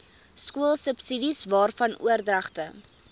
skoolsubsidies waarvan oordragte